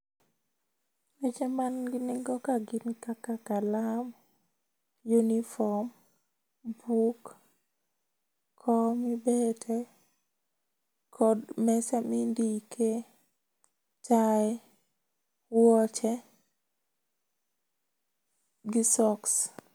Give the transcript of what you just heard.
Weche man gi nengo ka gin kaka kalam, uniform, buk, kom mibete kod mesa mindike. Tie, wuoche gi socks